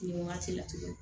Nin wagati la tuguni